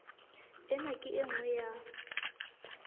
ena ke e nngwe ya